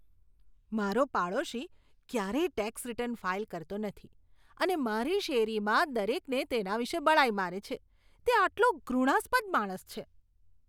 મારો પાડોશી ક્યારેય ટેક્સ રીટર્ન ફાઈલ કરતો નથી અને મારી શેરીમાં દરેકને તેના વિશે બડાઈ મારે છે. તે આટલો ઘૃણાસ્પદ માણસ છે.